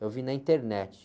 Eu vi na internet.